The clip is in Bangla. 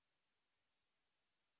ফন্ট সাইজ বাড়িয়ে ১৬ করুন